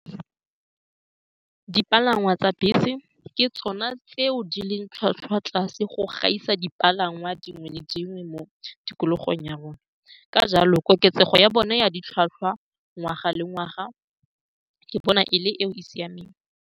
Dipalangwa tsa bese ke tsone tseo di leng tlhwatlhwa tlase go gaisa dipalangwa dingwe le dingwe mo tikologong ya rona. Ka jalo, koketsego ya bone ya ditlhwatlhwa ngwaga le ngwaga ke bona e le e e siameng.